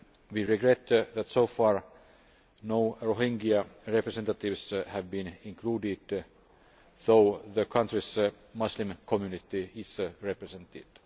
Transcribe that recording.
We regret that so far no Rohingya representatives have been included, although the country's Muslim Community is represented.